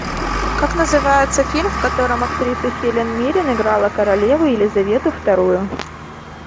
как называется фильм в котором актриса хелен миррен играла королеву елизавету вторую